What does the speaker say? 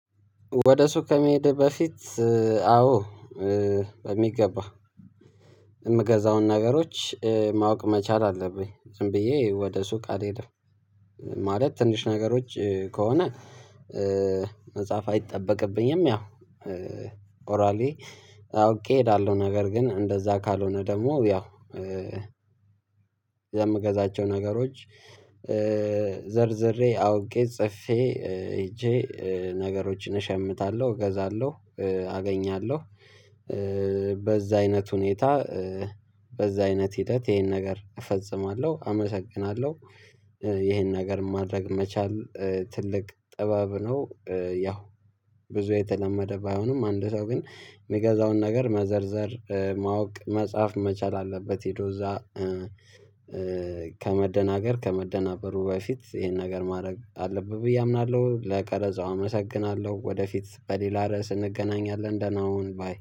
ወደ ሱቅ ከመሄድ በፊት አዎ። በሚገባው የምገዛውን ነገሮች ማወቅ መቻል አለብኝ ዝም ብዬ ወደ ሱቅ አልሄድም። ማለት ትንሽ ነገሮች ከሆነ። መጽሐፍ አይጠበቅብኝም ያው ኦራሊ አውቄ ያለው ነገር ግን እንደዛ ካልሆነ ደግሞ ያው። የምገዛቸው ነገሮች ዘርዝሬ አውቄ ጽፌ ሄጄ ነገሮችን እሸምታለሁ እገዛለሁ አገኛለሁ። በዛ አይነት ሁኔታ በዛ አይነት ሂደት ይሄን ነገር እፈጽማለሁ። አመሰግናለሁ። ይሄን ነገር ማድረግ መቻል ትልቅ ጥበብ ነው። ያው ብዙ የተለመደ ባይሆንም አንድ ነው ግን የሚገዛውን ነገር መዘርዘር ማወቅ መጻፍ መቻል አለበት ሄዶ እዛ። ከመደናገር ከመደናበሩ በፊት ይሄን ነገር ማድረግ አለብን ብዬ አምናለሁ። ለቀረጻው አመሰግናለሁ። ወደፊት በሌላ ርዕስ እንገናኛለን ደህና ሁን ባይ